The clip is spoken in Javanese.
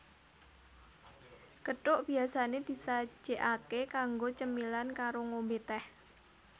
Gethuk biasané disajèkaké kanggo cemilan karo ngombé tèh